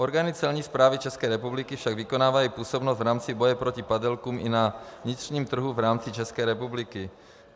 Orgány Celní správy České republiky však vykonávají působnost v rámci boje proti padělkům i na vnitřním trhu v rámci České republiky.